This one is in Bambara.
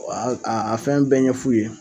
A a a fɛn bɛɛ ɲɛ f'u ye.